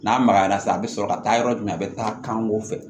N'a magayara sisan a bɛ sɔrɔ ka taa yɔrɔ jumɛn a bɛ taa kanko fɛ